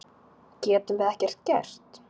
Getum við ekkert gert?